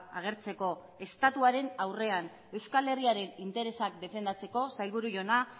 agertzeko estatuaren aurrean euskal herriaren interesak defendatzeko sailburu jauna